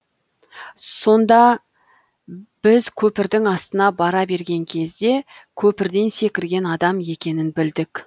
содан біз көпірдің астына бара берген кезде көпірден секірген адам екенін білдік